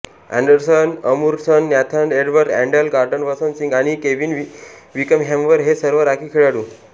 Anderson अमूरडन Nathan Edward अँडेल Gordon Vasant Singh आणि केव्हिन विकहॅमवेरे हे सर्व राखीव खेळाडू